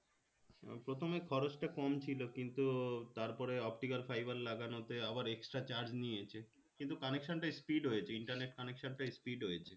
প্রথমে খরচটা কম ছিলো কিন্তু তারপরে optical fiber লাগানোতে আবার extra charge নিয়েছে কিন্তু connection টা speed হয়েছে internet connection টা speed হয়েছে